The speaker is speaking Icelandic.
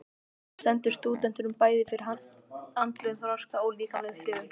Það stendur stúdentunum bæði fyrir andlegum þroska og líkamlegum þrifum.